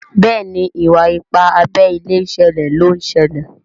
Béèni Iwa-ipa abé ilé ṣẹlẹ ló ń ṣẹlẹ.